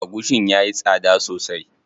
Agushin yayi tsada sosai.